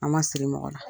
An ma sigi mɔgɔ la